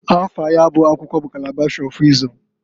Afa ya bụ akwụkwọ bu Kalabash ọ Wịzdọm.